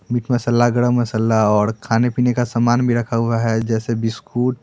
Meet masala garam masala और खाने पीने का सामान भी रखा हुआ है जैसे बिस्कुट ।